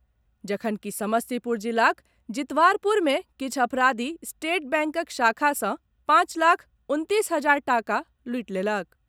जखनकि समस्तीपुर जिलाक जितवारपुर मे किछु अपराधी स्टेट बैंकक शाखा सॅ पांच लाख उनतीस हजार टाका लूटि लेलक।